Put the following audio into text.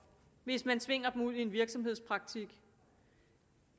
hvis man tvinger dem ud i en virksomhedspraktik